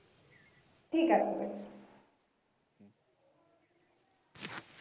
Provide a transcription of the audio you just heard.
ঠিক আছে।